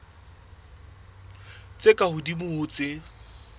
tse ka hodimo ho tse